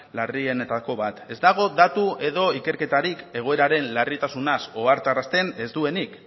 larrienetako bat ez dago datu edo ikerketarik egoeraren larritasunaz ohartarazten ez duenik